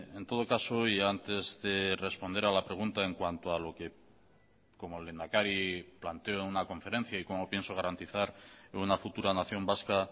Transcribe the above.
en todo caso y antes de responder a la pregunta en cuanto a lo que como lehendakari planteo en una conferencia y cómo pienso garantizar en una futura nación vasca